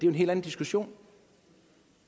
en helt anden diskussion